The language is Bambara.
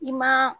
I ma